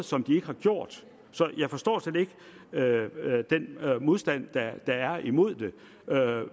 som de ikke har gjort så jeg forstår slet ikke den modstand der er imod det